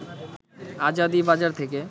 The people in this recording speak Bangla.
আজাদী বাজার থেকে